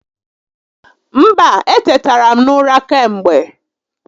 Mba, etetara m n'ụra kemgbe